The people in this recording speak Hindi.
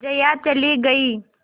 जया चली गई